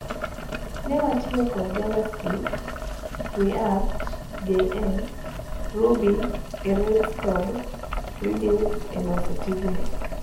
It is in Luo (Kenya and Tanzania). Newatiyo kod JavaScript, ReactJs, Ruby e Railskod Redux eloso tijni.